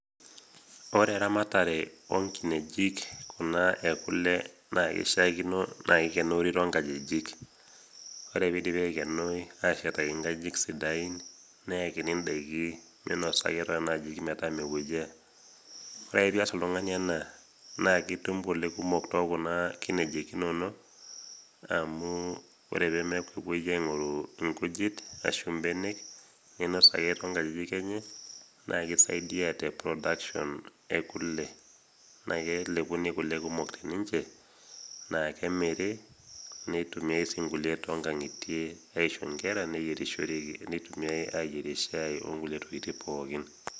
Ore eramatare onkineji kuna e kole naakeishaakino naa eikonori tonkajijik, ore peidipi aikenoi ashetaki nkajijik sidain neakini indaiki meinosa ake toonena ajijik metaa mepuoyaa. Ore ake piias oltung'ani ena naakeitum kole kumok tookuna kineji inono amuu ore peemepuoyaa aing'oru inkujit ashu mbenek neinos ake tonkajijik enye naake eisaidia te production e kule. Naake elepuni kole kumok teninche naake emiri neitumiai sii nkulie tongang'itie aisho nkera neyierishoreki, neitumiai ayerie shai onkulie tokitin pookin.